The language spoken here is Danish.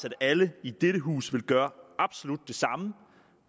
at alle i dette hus ville gøre absolut det samme